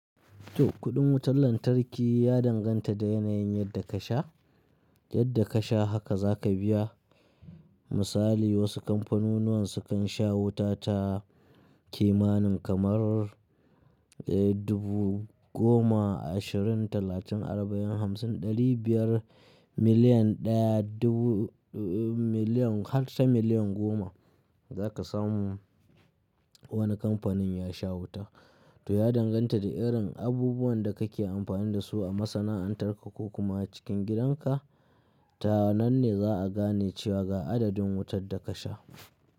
To kuɗin wutar lantarki ya danganta da yanayin yadda ka sha, yadda ka sha haka za ka biya. Misali wasu kamfanunuwan su kan sha wuta ta kimanin kamar, eh dubu goma, ashirin, talatin, arba'in, hamsin, ɗari biyar, miliyan ɗaya, dubu, miliyan har ta miliyan goma za ka samu wani kamfanin ya sha wuta. To ya danganta da irin abubuwan da kake amfani da su a masana'antar ka ko kuma a cikin gidanka. Ta nan ne za'a gane cewa ga adadin wutar da ka sha.